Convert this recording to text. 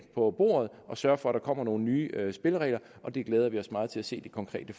på bordet og sørger for at der kommer nogle nye spilleregler og vi glæder os meget til at se det konkrete